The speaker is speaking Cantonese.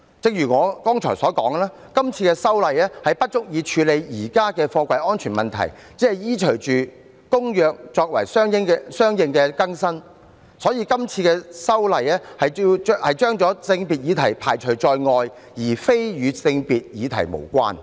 正如我剛才提到，今次修例不足以處理現時貨櫃安全的問題，只是依隨《公約》作相應更新，因此今次修例把性別議題排除在外，而非與性別議題無關。